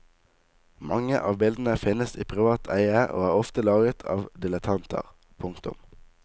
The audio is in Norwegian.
Mange av bildene finnes i privat eie og er ofte laget av dilettanter. punktum